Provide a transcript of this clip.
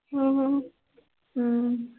ਅਮ ਅਮ